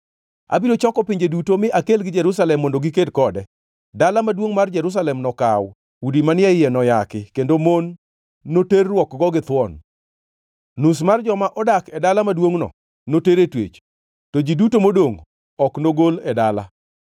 Abiro choko pinje duto mi akelgi Jerusalem mondo giked kode. Dala maduongʼ mar Jerusalem nokaw, udi manie iye noyaki, kendo mon noterruokgo githuon. Nus mar joma odak e dala maduongʼno noter e twech, to ji duto modongʼ ok nogol e dala.